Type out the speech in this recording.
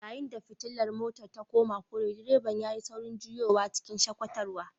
Yayin da fitilar motar ta koma kore direban yayi saurin juyowa cikin shakatarwa